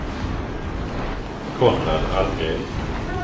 Konrad Almgren